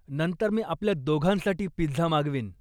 नंतर मी आपल्या दोघांसाठी पिझ्झा मागवीन.